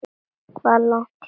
Hvað er langt héðan?